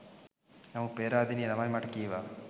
නමුත් පේරාදෙණියේ ළමයි මට කීවා